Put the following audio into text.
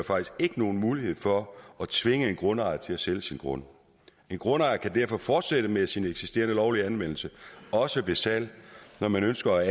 nogen mulighed for at tvinge en grundejer til at sælge sin grund en grundejer kan derfor fortsætte med sin eksisterende lovlige anvendelse også ved salg når man ønsker at